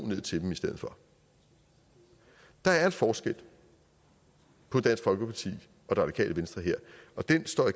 ned til dem i stedet for der er en forskel på dansk folkeparti og det radikale venstre her og den står